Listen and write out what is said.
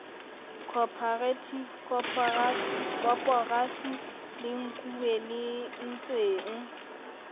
corperative koporasi le nkuwe lentsweng